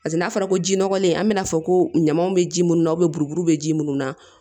Paseke n'a fɔra ko ji nɔgɔlen an bɛna fɔ ko ɲamaw bɛ ji minnu na buruburu bɛ ji minnu na